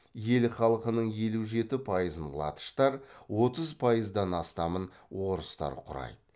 ел халқының елу жеті пайызын латыштар отыз пайыздан астамын орыстар құрайды